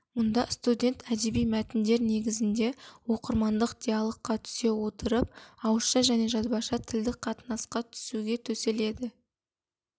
мұнда студент әдеби мәтіндер негізінде оқырмандық диалогқа түсе отырып ауызша және жазбаша тілдік қатынасқа түсуге төселеді